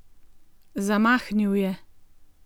Zamahnil je.